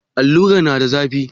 Alluran na da zafi?